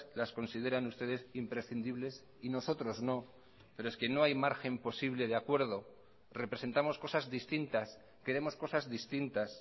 las consideran ustedes imprescindibles y nosotros no pero es que no hay margen posible de acuerdo representamos cosas distintas queremos cosas distintas